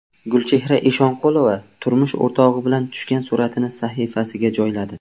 Gulchehra Eshonqulova turmush o‘rtog‘i bilan tushgan suratini sahifasiga joyladi.